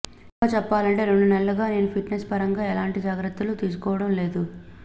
ఇంకా చెప్పాలంటే రెండు నెలలుగా నేను ఫిట్నెస్ పరంగా ఎలాంటి జాగ్రత్తలు తీసుకోవడం లేదు